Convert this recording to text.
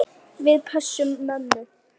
Við pössum mömmu.